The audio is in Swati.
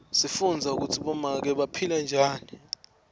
sifundza kutsi bomake baphila njani